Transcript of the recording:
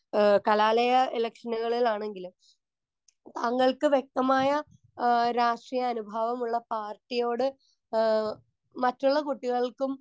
speaker 1 ഏഹ് കലാലയ ഇലക്ഷനുകളിലാണെങ്കിലും താങ്കൾക്ക് വ്യക്തമായ ആഹ് രാഷ്ട്രീയ അനുഭാവമുള്ള പാർട്ടിയോട് ഏഹ് മറ്റുള്ള കുട്ടികൾക്കും